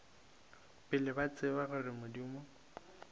pele ba tseba gore modimo